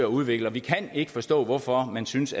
udvikler vi kan ikke forstå hvorfor man synes